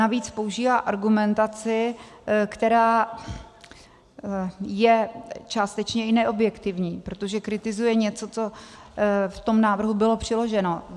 Navíc používá argumentaci, která je částečně i neobjektivní, protože kritizuje něco, co v tom návrhu bylo přiloženo.